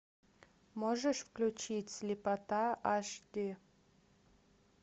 можешь включить слепота аш ди